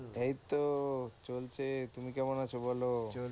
এইতো চলছে। তুমি কেমন আছো বলো?